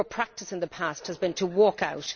Your practice in the past has been to walk out.